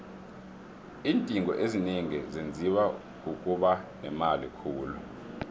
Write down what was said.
iindingo ezinengi zenziwa kukuba nemali khulu